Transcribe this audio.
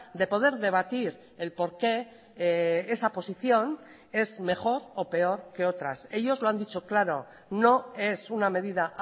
de poder debatir el por qué esa posición es mejor o peor que otras ellos lo han dicho claro no es una medida